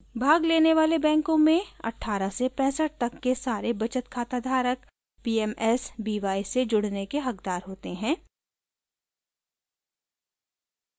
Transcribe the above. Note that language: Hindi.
भाग लेने वाले बैंकों में 18 से 65 तक के सारे बचत खाता धारक pmsby से जुड़ने के हक़दार होते हैं